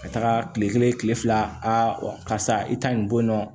Ka taga kile kelen kile fila karisa i ta in bɔ yen nɔ